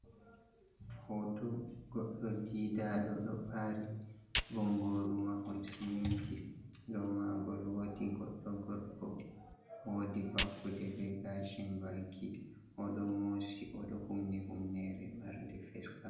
Hoto godɗo didaɗo ɗo ɓari, bongoru mahol siminti, dau magol wodi godɗo gorko, wodi vakuɗe ɓe gashin baki, oɗo mosi oɗo humni humnere marde feskab.